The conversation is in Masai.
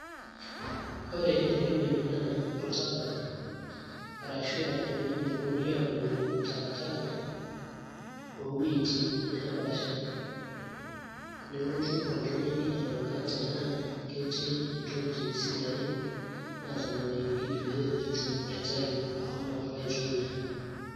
ore enewueji naa oltaka arashu aa ewueji neponunui aabukoki takataka oowuejitin neepasha nelotu oltung'ani aing'uraa tenaa ketii ntokitin sidain naatanang'ayioki peetum aitayu ashomo alo aitumiya.